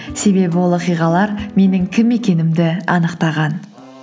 себебі ол оқиғалар менің кім екенімді анықтаған